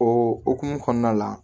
O hokumu kɔnɔna la